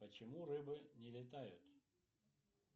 почему рыбы не летают